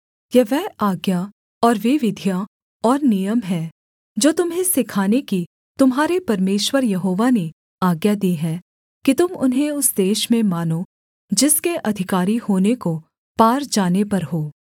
यह वह आज्ञा और वे विधियाँ और नियम हैं जो तुम्हें सिखाने की तुम्हारे परमेश्वर यहोवा ने आज्ञा दी है कि तुम उन्हें उस देश में मानो जिसके अधिकारी होने को पार जाने पर हो